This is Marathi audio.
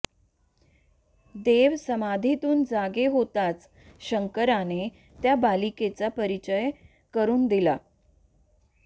देव समाधीतून जागे होताच शंकराने त्या बालिकेचा परिचय करून दिला